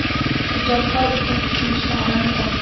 Ijodkor uchun tushunishlari muhim.